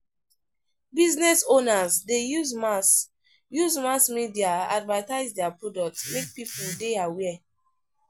Business owners de use mass use mass media advertise their products make pipo de aware